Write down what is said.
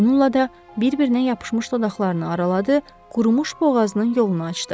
Bununla da bir-birinə yapışmış dodaqlarını araladı, qurumuş boğazının yolunu açdı.